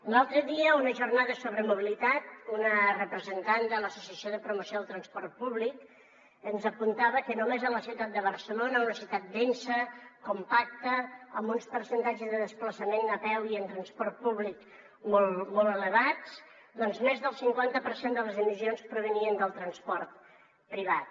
l’altre dia en una jornada sobre mobilitat una representant de l’associació de promoció del transport públic ens apuntava que només a la ciutat de barcelona una ciutat densa compacta amb uns percentatges de desplaçament a peu i en transport públic molt molt elevats doncs més del cinquanta per cent de les emissions provenien del transport privat